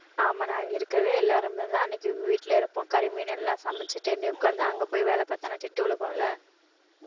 ஆமா நான் இங்க இருக்கிறது எல்லாருமேதான் அன்னைக்கு வீட்டுல இருப்போம் கறி மீன் எல்லாம் உட்கார்ந்து அங்கே போய் வேலை பார்த்தான்னா திட்டு உழுகும்ல